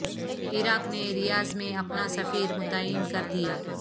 عراق نے ریاض میں اپنا سفیر متعین کر دیا